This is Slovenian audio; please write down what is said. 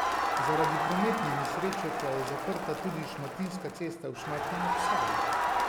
Zaradi prometne nesreče pa je zaprta tudi Šmartinska cesta v Šmartnem ob Savi.